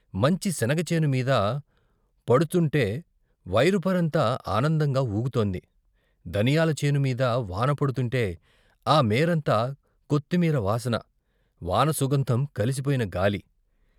మంచి శనగ చేను మీద పడుతుంటే పైరు పైరంతా ఆనందంగా వూగుతోంది దనియాల చేను మీద వాన పడుతుంటే ఆ మేరంతా కొత్తిమీర వాసన, వాన సుగంధం కలిసిపోయిన గాలి.